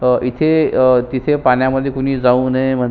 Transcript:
अह इथे अ तिथे पाण्यामध्ये कोणी जाऊ नये म्हणू--